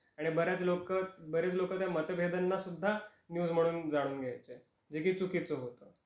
आणि बऱ्याच लोक, बरेच लोक त्या मतभेदांना सुद्धा न्यूज म्हणून जाणून घ्यायचे, जे के चूकीच होत.